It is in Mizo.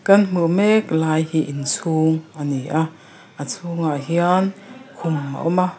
kan hmuh mek lai hi inchhung a ni a a chhungah hian khum a awm a.